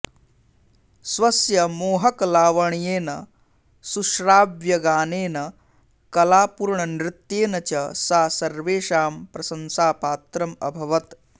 स्वस्य मोहकलावण्येन सुश्राव्यगानेन कलापूर्णनृत्येन च सा सर्वेषां प्रशंसापात्रम् अभवत्